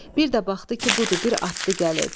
Bir də baxdı ki, budur, bir atlı gəlir.